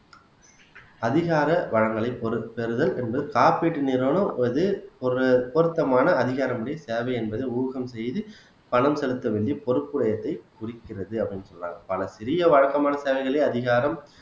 அதிகார வளங்களை பொறுத்துத்தருதல் என்று காப்ப நிறுவனம் வந்து ஒரு பொருத்தமான அதிகாரம் உடைய தேவை என்பதை ஊக்கம் செய்து பணம் செலுத்த வேண்டிய பொறுப்புடையதை குறிக்கிறது அப்படின்னு சொல்றாங்க பல சிறிய வழக்கமான தேவைகளை அதிகாரம்